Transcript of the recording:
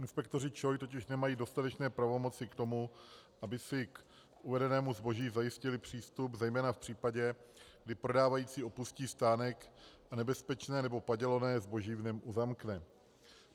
Inspektoři ČOI totiž nemají dostatečné pravomoci k tomu, aby si k uvedenému zboží zajistili přístup, zejména v případě, kdy prodávající opustí stánek a nebezpečné nebo padělané zboží v něm uzamkne.